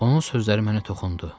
Onun sözləri mənə toxundu.